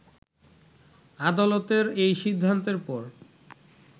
আদালতের এই সিদ্ধান্তের পর